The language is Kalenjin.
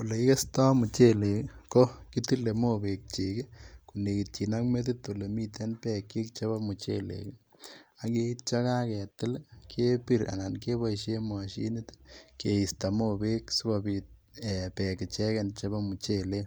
Ole kikesto muchelek ii kokitile mobekyik ii konekityin ak metit olemiten bekyik chebo muchelek ak yeitio yakaketil kebir anan keboishen moshinit ii keisto mobek sikobit bek icheken chebo muchelek